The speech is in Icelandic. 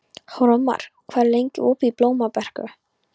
Hróðmar, hvað er lengi opið í Blómabrekku?